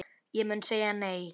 Ég mun segja nei.